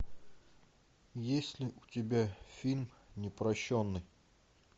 есть ли у тебя фильм непрощенный